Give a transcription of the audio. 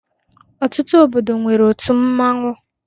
Ọtutu obodo nwere òtụ mmanwu.